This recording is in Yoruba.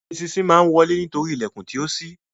Eṣinṣin má wọle nítorí ìlèkùn tíó sí.